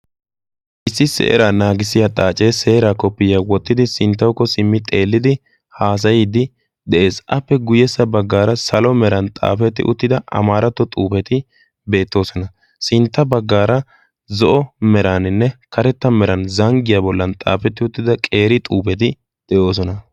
issi seeraa naagissiya xaacee seeraa koppiya wottidi sinttaukko simmi xeellidi haasayiiddi de7ees appe guyyessa baggaara salo meran xaafetti uttida amaaratto xuufeti beettoosona sintta baggaara zo7o meraaninne karetta meran zanggiyaa bollan xaafetti uttida qeeri xuufeti de7oosona